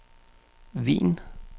Wien